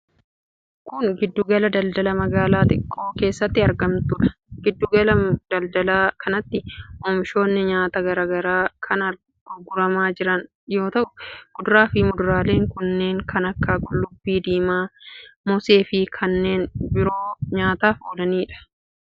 Kun, giddu gala daldalaa magaalaa xiqqoo keessatti argamtuu dha. Giddu gala daldalaa kanatti oomishoonni nyaataa garaa garaa kan gurguramaa jiran yoo ta'u, kuduraa fi muduraaleen kunneen kan akka :qullubbii diimaa, moosee fi kanneen biroo nyaataf oolanii dha.